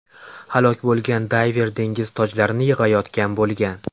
Halok bo‘lgan dayver dengiz tojlarini yig‘ayotgan bo‘lgan.